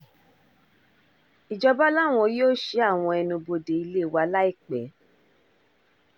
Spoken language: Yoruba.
ìjọba làwọn yóò ṣí àwọn ẹnubodè ilé wa láìpẹ́